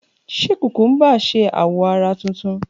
Ṣe kukumba ṣe awọ ara tuntun?